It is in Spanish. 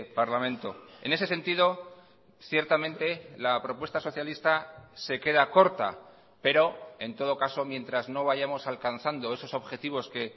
parlamento en ese sentido ciertamente la propuesta socialista se queda corta pero en todo caso mientras no vayamos alcanzando esos objetivos que